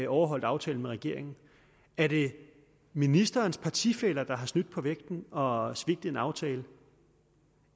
overholdt aftalen med regeringen er det ministerens partifæller der har snydt på vægten og svigtet en aftale